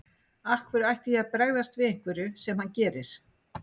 Af hverju ætti ég að bregðast við einhverju sem hann gerir.